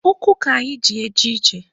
Ụkwụ ka anyị ji eje ije.